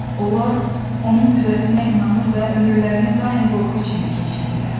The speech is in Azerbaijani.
Onlar onun qüdrətinə inanır və ömürlərini daim qorxu içində keçirirlər.